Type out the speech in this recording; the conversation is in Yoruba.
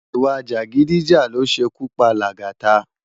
Iwá-jágidijá ló ṣé kú pá Lagata